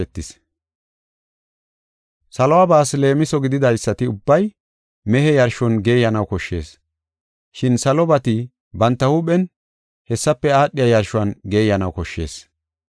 Saluwabaas leemiso gididaysati ubbay mehe yarshon geeyanaw koshshees. Shin salobati banta huuphen hessafe aadhiya yarshuwan geeyanaw koshshees.